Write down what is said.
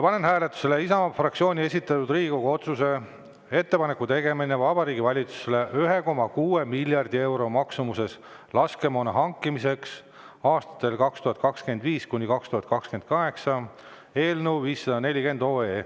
Panen hääletusele Isamaa fraktsiooni esitatud Riigikogu otsuse "Ettepaneku tegemine Vabariigi Valitsusele 1,6 miljardi euro maksumuses laskemoona hankimiseks aastatel 2025–2028" eelnõu 540.